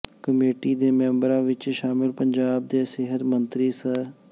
committee ਦੇ ਮੈਂਬਰਾਂ ਵਿੱਚ ਸ਼ਾਮਲ ਪੰਜਾਬ ਦੇ ਸਿਹਤ ਮੰਤਰੀ ਸ